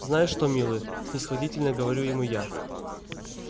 знаешь что милый снисходительно говорю ему я